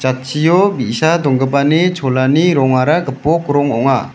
jatchio bi·sa donggipani cholani rongara gipok rong ong·a.